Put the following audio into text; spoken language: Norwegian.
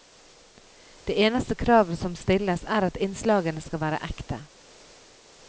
Det eneste kravet som stilles, er at innslagene skal være ekte.